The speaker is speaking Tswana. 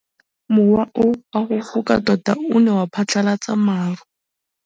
Mowa o wa go foka tota o ne wa phatlalatsa maru.